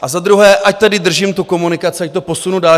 A za druhé, ať tedy držím tu komunikaci, ať to posunu dále.